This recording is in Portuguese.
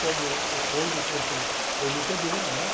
Como hoje eu curto eme pê bê né?